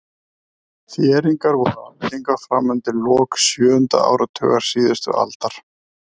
Þéringar voru algengar fram undir lok sjöunda áratugar síðustu aldar.